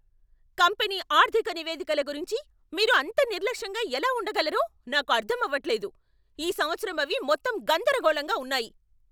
Company ఆర్థిక నివేదికల గురించి మీరు అంత నిర్లక్ష్యంగా ఎలా ఉండగలరో నాకు అర్థం అవట్లేదు. ఈ సంవత్సరం అవి మొత్తం గందరగోళంగా ఉన్నాయి.